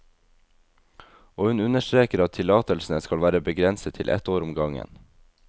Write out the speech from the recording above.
Og hun understreker at tillatelsene skal være begrenset til ett år om gangen.